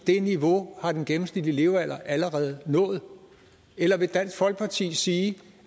det niveau har den gennemsnitlige levealder allerede nået eller vil dansk folkeparti sige